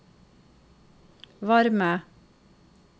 varme